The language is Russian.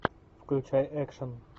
включай экшн